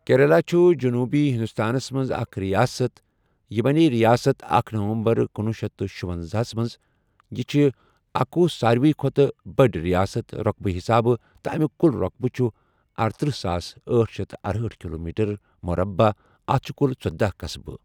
کیرَلا چھُ جۆنوٗبی ہِندوستانَس مَنٛز اَکھ رِیاسَتھ یہِ بَنی رِیاسَتھ اکھ نَوَمبَر کنوُہ شیتھ تہٕ شُۄنزہَس مَنٛز یہِ چھِ اکوُہ سارِوٕے کھۄتہٕ بٔڑۍ رِیاسَتھ رۄقبہٕ حِساب تہِ اَمُیک کُل رۄقبہٕ چھُ ارتٔرہ ساس أٹھ شیتھ ارہأٹھ کِلومیٖٹَر مُرَبع اَتھ چھِ کُل ژۄداہَ قَصبہٕ۔